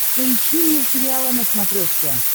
поищи мир сериала на смотрешке